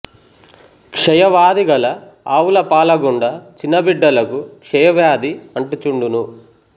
క్షయ వ్యాధిగల ఆవుల పాల గుండ చిన్న బిడ్డలకా క్షయ వ్యాధి అంటు చుండును